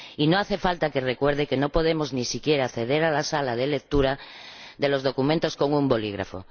Y no hace falta que recuerde que no podemos siquiera acceder a la sala de lectura de los documentos con un bolígrafo.